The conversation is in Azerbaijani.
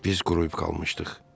Biz quruyub qalmışdıq.